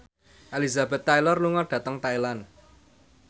Elizabeth Taylor lunga dhateng Thailand